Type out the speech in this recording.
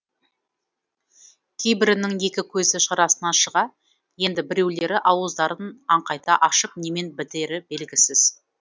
кейбірінің екі көзі шарасынан шыға енді біреулері ауыздарын аңқайта ашып немен бітері белгісіз